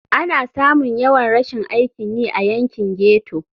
Ana samun yawan rashin aikin yi a yankin ghetto.